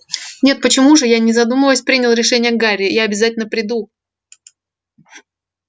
нет почему же не задумываясь принял решение гарри я обязательно приду